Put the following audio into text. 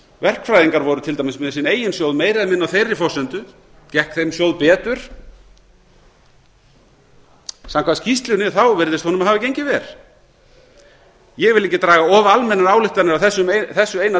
verkfræðingar voru til dæmis með sinn eigin sjóð meira eða minna á þeirri forsendu gekk þeim sjóð betur samkvæmt skýrslunni virðist honum hafa gengið verr ég vil ekki draga of almennar ályktanir af þessu eina